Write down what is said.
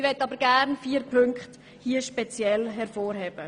Ich möchte nun vier Punkte hervorheben.